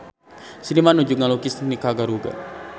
Seniman nuju ngalukis Nikaragua